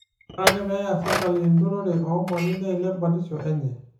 ore ake peeya serkali inturore oomali neilep batisho e nye